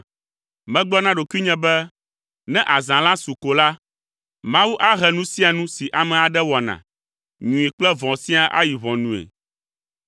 Megblɔ na ɖokuinye be, “Ne azã la su ko la, Mawu ahe nu sia nu si ame aɖe wɔna, nyui kple vɔ̃ siaa ayi ʋɔnue.”